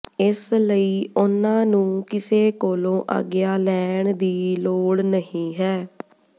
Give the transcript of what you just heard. ਇਸ ਲਈ ਉਨ੍ਹਾਂ ਨੂੰ ਕਿਸੇ ਕੋਲੋਂ ਆਗਿਆ ਲੈਣ ਦੀ ਲੋੜ ਨਹੀਂ ਹੈ